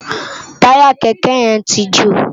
Tàyá kèkè yèn ti jó